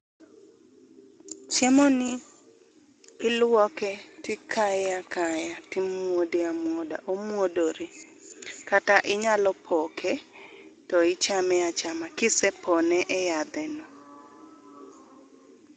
Chiemo ni iluoke to ikaye akaya, timuode amuoda.,omuodore kata inyalo poke to ichame achama kisepone e yadhe no